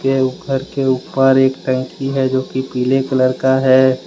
के ऊपर के ऊपर एक टंकी है जो कि पीले कलर का है।